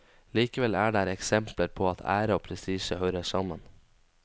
Likevel er der eksempler på at ære og prestisje hører sammen.